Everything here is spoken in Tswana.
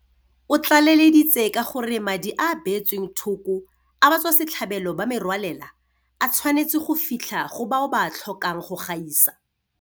O tlaleleditse ka gore madi a a beetsweng thoko a batswasetlhabelo ba merwalela a tshwanetse go fitlha go bao ba a tlhokang go gaisa.